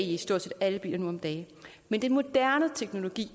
i stort set alle biler nu om dage men den moderne teknologi